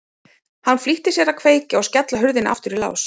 Hann flýtti sér að kveikja og skella hurðinni aftur í lás.